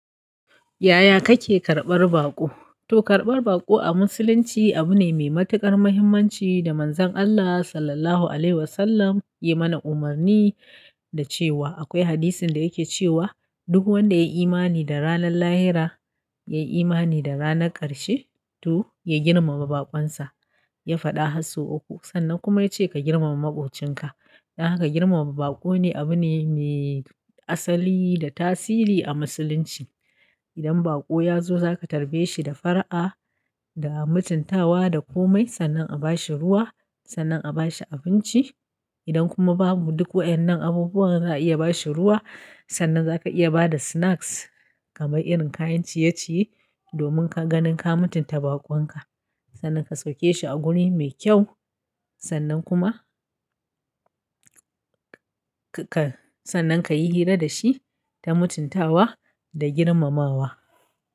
Yaya kake karɓar baƙo? To karɓar baƙo a musulunci abu ne mai matuƙar muhimmanci da Manzon Allah Sallallahu Alaihi Wasallam ya yi mana umarni da cewa akwai hadisin da yake cewa duk wanda ya yi imani da ranar lahira, ya yi imani da ranar ƙarshe to ya girmama baƙonsa. Ya faɗa har uku sannan kuma ya ce ka girmama maƙocinka. Don haka girmama baƙo ne abu ne mai asali da tasiri a musulunci. Idan baƙo ya zo za ka tarbe shi da fara'a, da mutuntawa da komai sannan a ba shi ruwa, sannan a ba shi abinci. Idan kuma babu duk waɗannan abubuwan za a iya ba shi ruwa sannan za ka iya ba da snacks kamar irin kayan ciye-ciye domin ka ganin ka mutunta baƙonka. Sannan ka sauke shi a wuri mai kyau sannan kuma ka-ka sannan ka yi hira da shi ta mutuntawa da girmamawa.